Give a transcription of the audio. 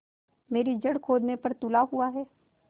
मेरी जड़ खोदने पर तुला हुआ है